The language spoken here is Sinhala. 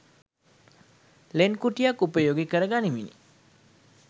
ලෙන් කුටියක් උපයෝගී කරගනිමිනි.